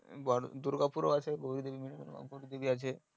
দূর্গা পুর ও আছে